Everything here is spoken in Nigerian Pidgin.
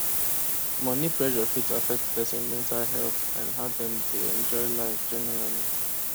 money pressure fit affect person mental health and how dem dey enjoy life generally